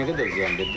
Nə qədər ziyan var?